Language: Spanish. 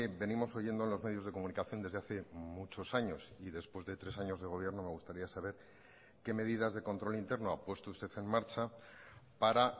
venimos oyendo en los medios de comunicación desde hace muchos años y después de tres años de gobierno me gustaría saber qué medidas de control interno ha puesto usted en marcha para